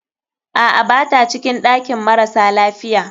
Aa, bata cikin ɗakin marasa lafiya.